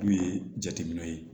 N'u ye jateminɛw ye